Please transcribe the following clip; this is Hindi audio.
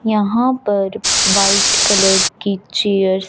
यहां पर वाइट कलर की चेयरस --